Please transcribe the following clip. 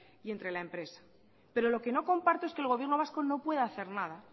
y entre la empresa pero lo que no comparto es que el gobierno vasco no pueda hacer nada